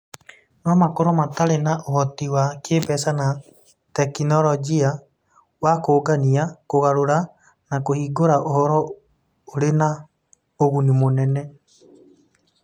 No makorũo matarĩ na ũhoti wa kĩĩmbeca na tekinolonjĩ wa kũũngania, kũgarũra, na kũhingũra ũhoro ũrĩ na ũguni mũnene.